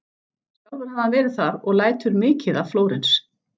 Sjálfur hafði hann verið þar og lætur mikið af Flórens.